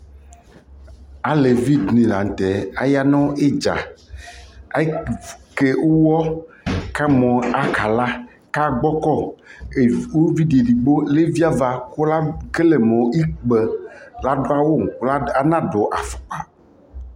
alɛvi dini lantɛ aya nʋ idza, akɛ ʋwɔ kʋ aka la kʋ agbɔkɔ, ʋvidi ɛdigbɔ ɛvi aɣa kʋ ɛkɛlɛ mʋ ikpa kʋ adʋ awʋ kʋ anadʋ aƒʋkpa